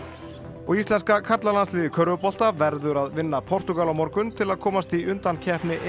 og íslenska karlalandsliðið í körfubolta verður að vinna Portúgal á morgun til að komast í undankeppni